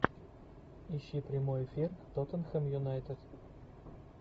ищи прямой эфир тоттенхэм юнайтед